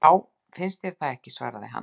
Já, finnst þér það ekki svaraði hann.